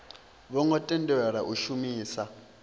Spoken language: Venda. vho ngo tendelwa u shumisa